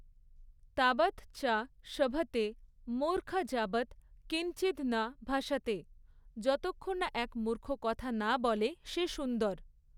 তাবৎ চ শোভতে মুর্খ যাবৎ কিঞ্চিদ ন ভাসতেঃ যতক্ষণ এক মূর্খ কথা না বলে সে সুন্দর।